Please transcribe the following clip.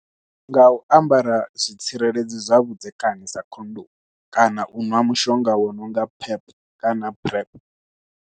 Nga u ambara zwitsireledzi zwa vhudzekani sa khondomu kana u ṅwa mushonga wa nonga pep kana PrEP.